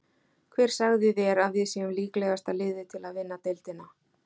Hver sagði þér að við séum líklegasta liðið til að vinna deildina?